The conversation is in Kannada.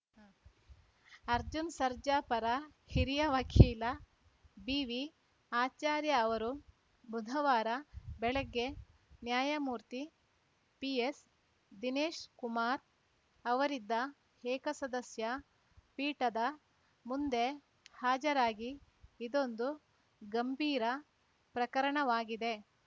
ಅರ್ಜುನ್‌ ಸರ್ಜಾ ಪರ ಹಿರಿಯ ವಕೀಲ ಬಿವಿಆಚಾರ್ಯ ಅವರು ಬುಧವಾರ ಬೆಳಗ್ಗೆ ನ್ಯಾಯಮೂರ್ತಿ ಪಿಎಸ್‌ದಿನೇಶ್‌ ಕುಮಾರ್‌ ಅವರಿದ್ದ ಏಕಸದಸ್ಯ ಪೀಠದ ಮುಂದೆ ಹಾಜರಾಗಿ ಇದೊಂದು ಗಂಭೀರ ಪ್ರಕರಣವಾಗಿದೆ